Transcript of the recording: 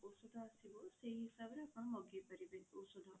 ଔଷଧ ଆସିବ ସେଇ ହିସାବରେ ଆପଣ ମଗେଇ ପାରିବେ ଔଷଧ